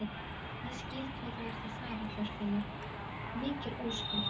Ég skil hvað þú ert að fara, Þorfinnur, mikil ósköp.